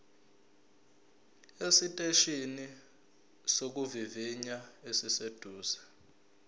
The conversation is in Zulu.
esiteshini sokuvivinya esiseduze